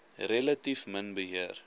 relatief min beheer